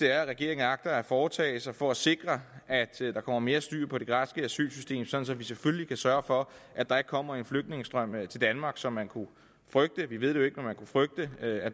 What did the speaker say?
er regeringen agter at foretage sig for at sikre at der kommer mere styr på det græske asylsystem sådan at vi selvfølgelig kan sørge for at der ikke kommer en flygtningestrøm til danmark som man kunne frygte vi ved det jo ikke men man kunne frygte at